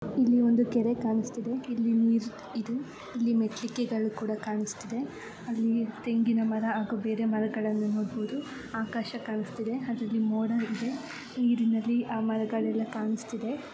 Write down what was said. ಇಲ್ಲಿ ಒಂದು ಕೆರೆ ಕಾಣಿಸುತ್ತಾ ಇದೆ ಇಲ್ಲಿಇದು ಇಲ್ಲಿ ಮೇಟ್ಲಿಕೆ ಕೂಡ ಕಾಣಿಸುತ್ತಿವೆ ಹಾಗೆ ತೆಂಗಿನ ಮರ ಮತ್ತೆ ಬೇರೆ ಮರಗಳನ್ನು ಕೂಡ ನೋಡಬಹುದು ಆಕಾಶ ಕಾಣುತ್ತಿದೆ ಅದರಲ್ಲಿ ಮೋಡ ಇದೆ ನೀರಿನಲ್ಲಿ ಆ ಮರಗಳೆಲ್ಲ ಕಾಣಿಸುತ್ತಾ ಇದೆ.